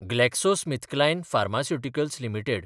GlaxoSmithKline pharmaceuticals limited